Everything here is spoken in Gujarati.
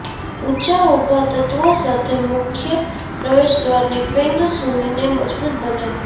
ઊંચા ઉભા તત્વો સાથે મુખ્ય પ્રવેશદ્વારની ફેંગ શુઇને મજબૂત બનાવવી